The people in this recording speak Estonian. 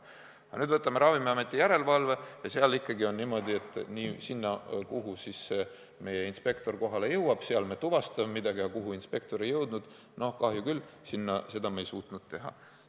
Aga kui võtame nüüd Ravimiameti järelevalve, siis seal on ikkagi niimoodi, et seal, kuhu see meie inspektor kohale jõuab, me tuvastame midagi, aga kuhu inspektor ei jõudnud – no kahju küll, seda me ei suutnud teha.